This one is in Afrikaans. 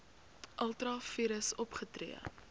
ultra vires opgetree